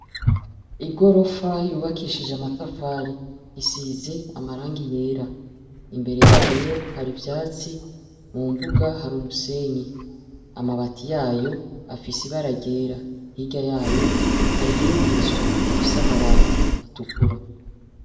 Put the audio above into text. Igorofa yubakishije amatafari isize amarangi yera. Imbere yayo hari ivyatsi mu mbuga hari umusenyi. Amabati yayo afise ibara ryera. Hirya yayo hari iyindi nzu ifise amabati atukura.